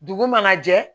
Dugu mana jɛ